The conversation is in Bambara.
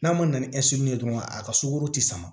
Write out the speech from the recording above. N'a ma na ni ye dɔrɔn a ka sugɔro ti sama